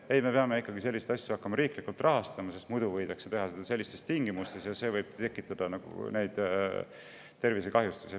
Ei, me peame ikkagi hakkama selliseid asju riiklikult rahastama, sest muidu võidakse seda teha sellistes tingimustes ja see võib tekitada tervisekahjustusi.